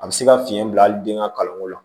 A bɛ se ka fiɲɛ bila hali den ka kalanko la